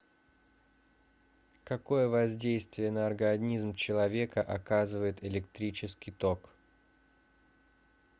какое воздействие на организм человека оказывает электрический ток